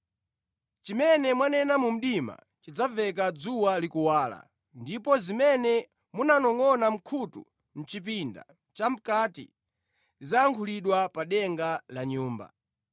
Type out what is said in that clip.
Chimene mwanena mu mdima chidzamveka dzuwa likuwala, ndipo zimene mwanongʼona mʼkhutu mʼchipinda chamʼkati, zidzayankhulidwa pa denga la nyumba.